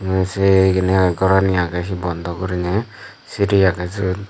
nung se gini age gorani agey bondo gurine siri agey siot.